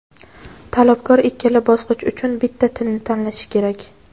Talabgor ikkala bosqich uchun bitta tilni tanlashi kerak.